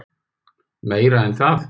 Meira en það.